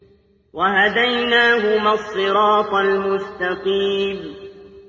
وَهَدَيْنَاهُمَا الصِّرَاطَ الْمُسْتَقِيمَ